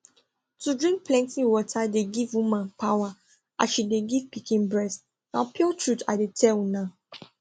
to drink plenty water dey give woman power as she de give pikin breast na pure truth i de tell una